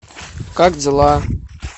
как дела